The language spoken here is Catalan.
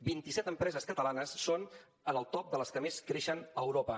vint i set empreses catalanes són en el top de les que més creixen a europa